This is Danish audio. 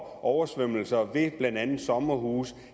oversvømmelser ved blandt andet sommerhuse